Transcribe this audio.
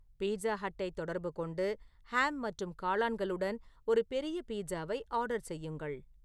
pizza ஹட்டை தொடர்பு கொண்டு ஹாம் மற்றும் காளான்களுடன் ஒரு பெரிய பீட்சாவை ஆர்டர் செய்யுங்கள்